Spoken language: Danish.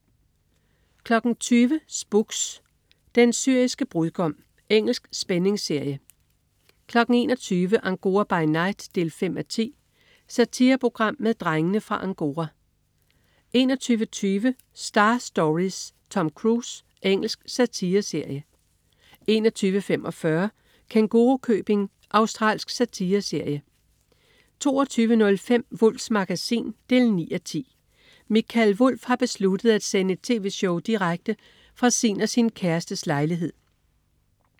20.00 Spooks: Den syriske brudgom. Engelsk spændingsserie 21.00 Angora by night 5:10. Satireprogram med "Drengene fra Angora" 21.20 Star Stories: Tom Cruise. Engelsk satireserie 21.45 Kængurukøbing. Australsk satireserie 22.05 Wulffs Magasin 9:10. Mikael Wulff har besluttet at sende et tv-show direkte fra sin og sin kærestes lejlighed